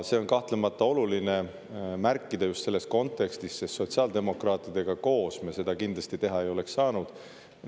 Seda on kahtlemata oluline märkida just selles kontekstis, sest sotsiaaldemokraatidega koos me seda kindlasti teha ei oleks saanud.